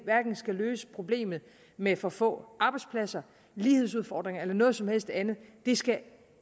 skal løse problemet med for få arbejdspladser lighedsudfordringer eller noget som helst andet det skal